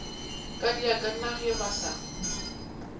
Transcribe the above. kadiaka na ge ba sa